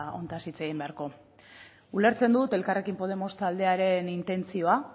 honetaz hitz egin beharko ulertzen dut elkarrekin podemos taldearen intentzio